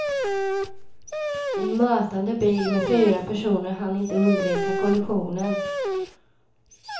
En mötande bil med fyra personer hann inte undvika kollisionen.